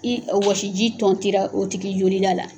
I wɔsi ji tɔnti la o tigi joli da la